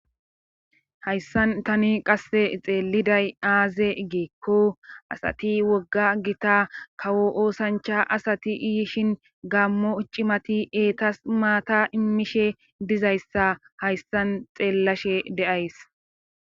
hayssan tani qasse xeeliday aaze giikko asati wogga gita kawo oosancha asati iyishin gammo cimati eetas maata immishe dizayssa hayssan xeellashe de7ays